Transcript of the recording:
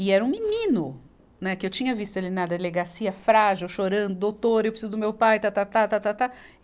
E era um menino, né, que eu tinha visto ele na delegacia, frágil, chorando, doutor, eu preciso do meu pai, tá, tá, tá, tá, tá, tá.